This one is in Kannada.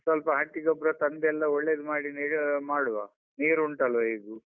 ಸ್ವಲ್ಪ ಹಟ್ಟಿ ಗೊಬ್ರ ತಂದೆಲ್ಲ ಒಳ್ಳೇದು ಮಾಡಿ ಮಾಡುವ ನೀರು ಉಂಟಲ್ವಾ ಹೇಗೂ.